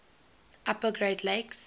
upper great lakes